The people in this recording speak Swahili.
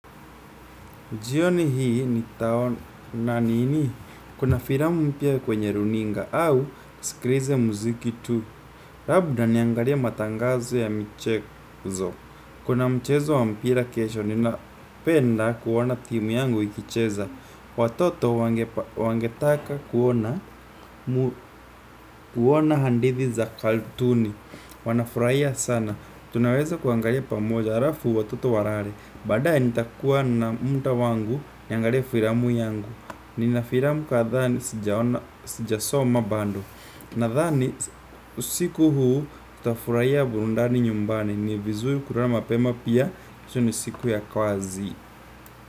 Jioni hii nitaona nini? Kuna filamu mpya kwenye runinga au niskilize muziki tu. Labda niangalie matangazo ya michezo. Kuna mchezo wa mpira kesho ninapenda kuoana timu yangu ikicheza. Watoto wangetaka kuoana hadithi za cartoon. Wanafurahia sana. Tunaweza kuangalia pamoja halafu watoto walale. Baa dae nitakuwa na muda wangu niangalie filamu yangu. Nina filamu kadhaa sijasoma bado. Nadhani usiku huu tutafurahia burudani nyumbani. Ni vizuri kulala mapema, pia kesho, ni siku ya kazi.